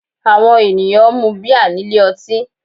Àwọn ènìyàn ń mun bíà nílé ọtí